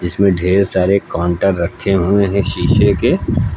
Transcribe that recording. इसमें ढ़ेर सारे काउंटर रखे हुए हैं शीशे के।